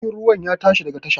Jirgin ruwa ya tashi daga tasha